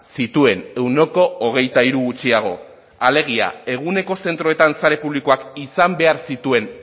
zituen ehuneko hogeita hiru gutxiago alegia eguneko zentroetan sare publikoak izan behar zituen